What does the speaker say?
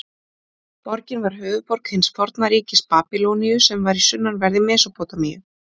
Borgin var höfuðborg hins forna ríkis Babýloníu sem var í sunnanverðri Mesópótamíu.